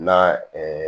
Na